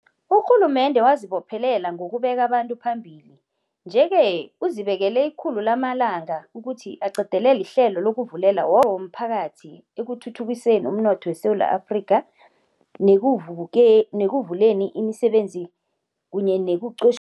Urhulumende wazibophelela ngokubeka abantu phambili, nje-ke uzibekele ikhulu lamalanga ukuthi aqedelele ihlelo lokuvulela womphakathi ekuthuthukiseni umnotho weSewula Afrika, nekuvuleni imisebenzi kunye nekuqotjh